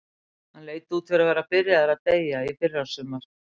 Hann leit út fyrir að vera byrjaður að deyja í fyrrasumar.